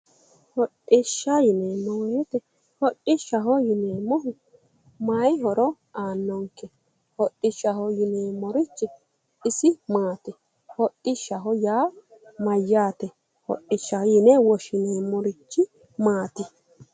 hodhishsha yineemmo wote hodhishshu mayi horo aannonke hodhishshaho yineemmorichi isi maati hadhishshaho yaa mayyaate hodhishshaho yine woshshineemmorichi maati?